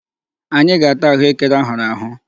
Anyị ga-ata ahụekere a hụrụ ahụ.